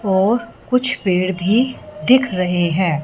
और कुछ पेड़ भी दिख रहे हैं।